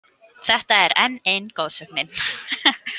Þetta er enn ein goðsögnin.